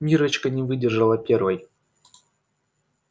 миррочка не выдержала первой